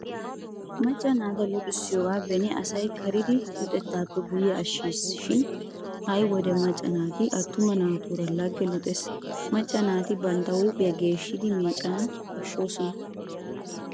Macca naata luxissiyoogaa beni asay karidi luxettaappe guyye ashshiisi shin ha'i wode macca naati attuma naatuura lagge luxees. Macca naati bantta huuphiyaa geeshshidi meeccana koshshoosona.